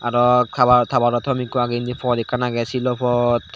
arw kalao tabatatom ikko agey indi pot ekkan agey silo pot.